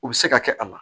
U bɛ se ka kɛ a la